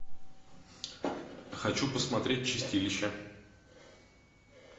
хочу посмотреть чистилище